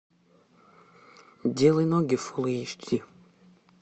делай ноги фул эйч ди